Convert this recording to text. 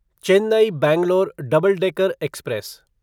Chennai Bangalore double decker express